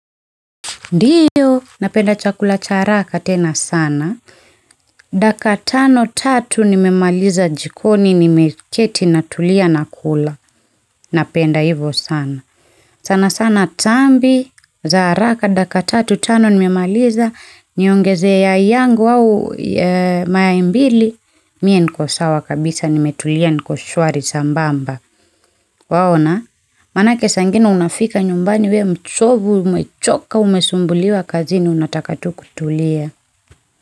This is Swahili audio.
Ndiyo, napenda chakula cha haraka tena sana, dakika tano tatu nimemaliza jikoni nimeketi natulia nakula, napenda hivyo sana. Sana sana tambi, za haraka, dakika tatu, tano nimemaliza, niongezee yai yangu au mayai mbili, mie niko sawa kabisa nimetulia niko shwari sambamba. Waona, maana yake saa nyingine unafika nyumbani we mchovu, umechoka, umesumbuliwa kazini unataka tu kutulia.